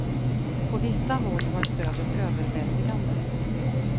På vissa håll var stödet överväldigande.